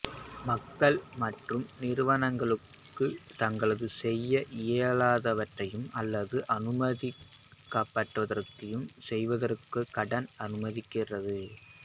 மக்கள் மற்றும் நிறுவனங்களுக்கு தாங்கள் செய்ய இயலாதவற்றை அல்லது அனுமதிக்கப்படாதவற்றைச் செய்வதற்குக் கடன் அனுமதிக்கிறது